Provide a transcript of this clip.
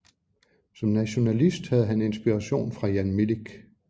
Som nationalist havde han inspiration fra Jan Milic